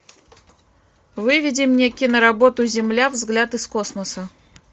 выведи мне киноработу земля взгляд из космоса